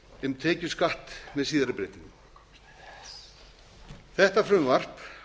um tekjuskatt með síðari breytingum þetta frumvarp